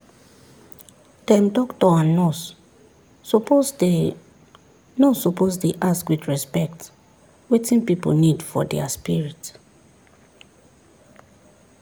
dem doctor and nurse suppose dey nurse suppose dey ask with respect wetin pipu need for dia spirit.